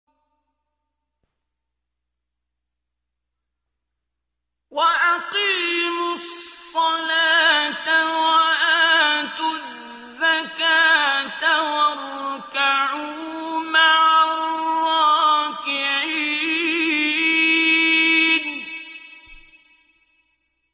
وَأَقِيمُوا الصَّلَاةَ وَآتُوا الزَّكَاةَ وَارْكَعُوا مَعَ الرَّاكِعِينَ